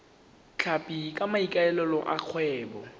tlhapi ka maikaelelo a kgwebo